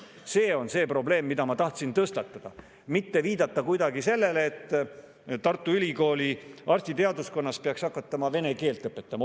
See on see probleem, mille ma tahtsin tõstatada, mitte viidata kuidagi sellele, et Tartu Ülikooli arstiteaduskonnas tuleks hakata vene keelt õpetama.